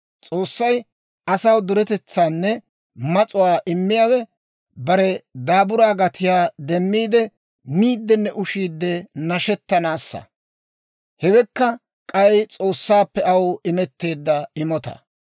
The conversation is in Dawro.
S'oossay asaw duretetsaanne mas'uwaa immiyaawe, bare daaburaa gatiyaa demmiide, miiddinne ushiide nashettanaassa. Hewekka k'ay S'oossaappe aw imetteedda imotaa.